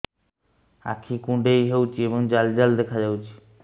ଆଖି କୁଣ୍ଡେଇ ହେଉଛି ଏବଂ ଜାଲ ଜାଲ ଦେଖାଯାଉଛି